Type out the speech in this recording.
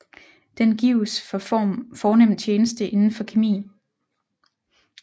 Den gives for fornem tjeneste inden for kemi